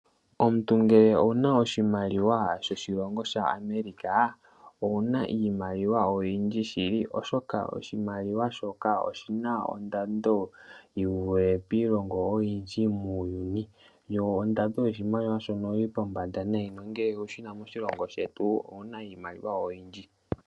Omuntu ngele owuna oshimaliwa sho shilongo shaAmerica, owuna iimaliwa oyindji shili oshoka oshimaliwa shoka oshina ondando yivule iilongo oyindji muuyuni. Yo ondando oyili pombanda nayi nongele owu shina moshilongo shetu, owuna iimaliwa oyindji.